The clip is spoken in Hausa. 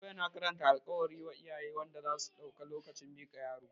Fasto yana karanta alkawali wa iyaye wanda zasu dauka lokacin miƙa yaro